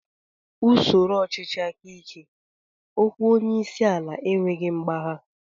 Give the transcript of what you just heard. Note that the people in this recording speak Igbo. N'usoro ọchịchị aka ike, okwu onyeisiala enweghị mgbagha